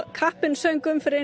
þrjátíu og sex árum